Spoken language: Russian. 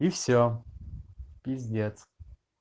и все пиздец